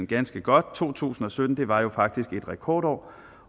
ganske godt to tusind og sytten var faktisk et rekordår